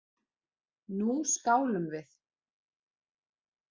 Nú skálum við!